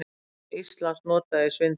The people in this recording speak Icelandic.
Nafn Íslands notað í svindli